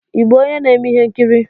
Ị bụ onye na-eme ihe nkiri?